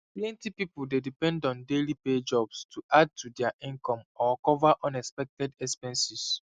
plenty people dey depend on daily pay jobs to add to dia income or cover unexpected expenses